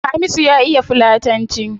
Hamisu ya iya fulatanci